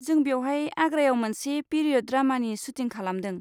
जों बेवहाय आग्रायाव मोनसे पिरियड ड्रामानि सुटिं खालामदों।